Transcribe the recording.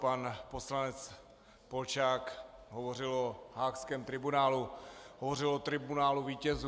Pan poslanec Polčák hovořil o haagském tribunálu, hovořil o tribunálu vítězů.